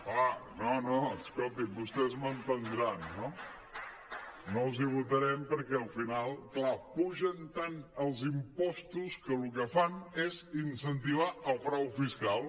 clar no no escolti’m vostès m’entendran no no els hi votarem perquè al final clar apugen tant els impostos que el que fan és incentivar el frau fiscal